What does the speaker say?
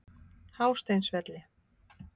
Hásteinsvelli